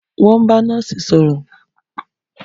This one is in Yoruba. Wọ́n ń bá nọ́ọ̀sì sọ̀rọ̀